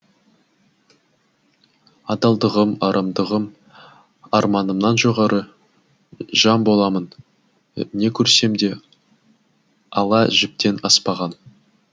адалдығым арамдығым арманымнан жоғары жан боламын не көрсемде ала жіптен аспаған